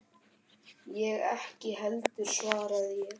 Ég ekki heldur, svaraði ég.